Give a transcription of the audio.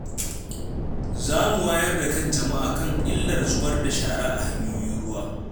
Za mu wayar da kan jama’a kan illar zubar da shara a hanyoyin ruwa.